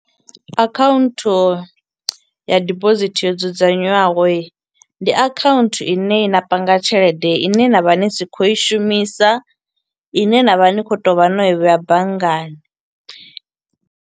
Akhaunthu ya dibosithi yo dzudzanywaho, ndi akhaunthu ine na panga tshelede ine na vha ni si khou i shumisa, i ne na vha ni khou to vha no i vhea banngani.